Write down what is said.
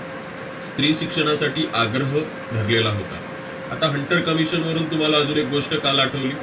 स्त्रीशिक्षणासाठी आग्रह धरलेला होता. आता hunter commission वरून तुम्हाला अजून एक गोष्ट काल आठवली.